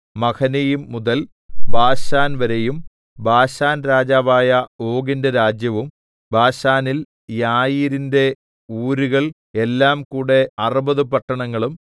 Mahanaim മുതൽ ബാശാൻവരെയും ബാശാൻരാജാവായ ഓഗിന്റെ രാജ്യവും ബാശാനിൽ യായീരിന്റെ ഊരുകൾ എല്ലാംകൂടെ അറുപതു പട്ടണങ്ങളും